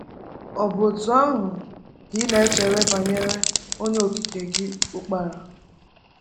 Ọ bụ otú ahụ ka ị na-eche banyere Onye Okike gị Ukpara?